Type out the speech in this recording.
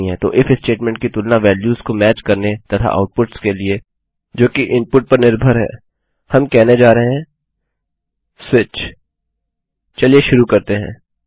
तो if statement की तुलना वेल्यूस को मैच करने तथा आउटपुट्स के लिए जो की इनपुट पर निर्भर है हम कहने जा रहे है स्विच चलिए शुरू करते हैं